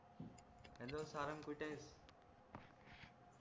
hello Sarang कुठेयस